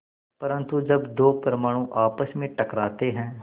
परन्तु जब दो परमाणु आपस में टकराते हैं